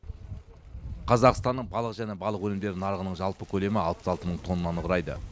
қазақстанның балық және балық өнімдері нарығының жалпы көлемі алпыс алты мың тоннаны құрайды